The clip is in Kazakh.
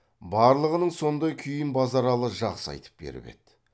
барлығының сондай күйін базаралы жақсы айтып беріп еді